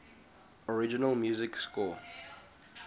original music score